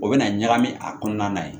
O bɛna ɲagami a kɔnɔna na